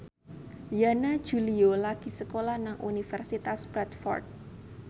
Yana Julio lagi sekolah nang Universitas Bradford